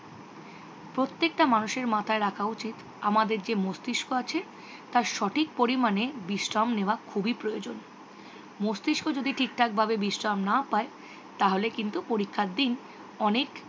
্প্রত্যেক্তা মানুষের মাথায় রাখা উচিত আমাদের যে মস্তিষ্ক আছে তার সঠিক পরিমানে বিশ্রাম নেওয়া খুবই প্রয়োজন। মস্তিষ্ক যদি ঠিক থাক ভাবে বিশ্রাম না পায় তাহলে কিতু পরীক্ষার দিন অনেক